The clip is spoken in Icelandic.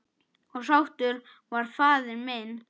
Og sáttur var faðir minn.